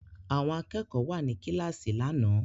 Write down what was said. Àwọn akẹ́kọ̀ọ́ wà ní kíláàsì lánàá